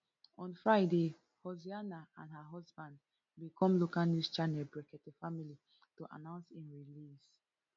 on friday hussaina and her husband bin come local news channel brekete family to announce im release